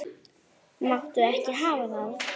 Máttu ekki hafa það.